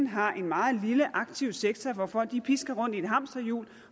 har en meget lille aktiv sektor hvor folk pisker rundt i et hamsterhjul